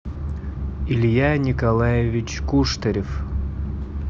илья николаевич куштарев